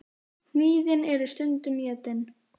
Hnýðin eru stundum étin.